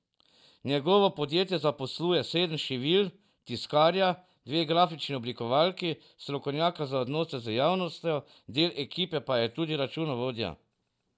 Njegovo podjetje zaposluje sedem šivilj, tiskarja, dve grafični oblikovalki, strokovnjaka za odnose z javnostjo, del ekipe pa je tudi računovodja.